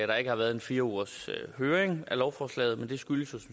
der ikke har været en fire ugers høring af lovforslaget men det skyldes jo